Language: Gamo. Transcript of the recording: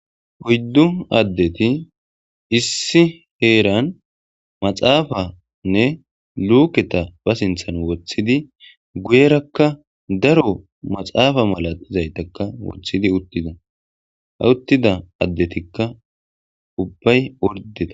oyddu addeti issi heeran maxaafanne luuketa ba sinthan woththidi guyerakka daro maxaafa mala izaytakka wothidi uttida ha uttida addetikka ubbay ordeta